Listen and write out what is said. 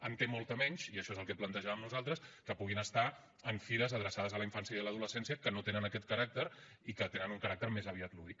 en té molta menys i això és el que plantejàvem nosaltres que puguin estar en fires adreçades a la infància i a l’adolescència que no tenen aquest caràcter i que tenen un caràcter més aviat lúdic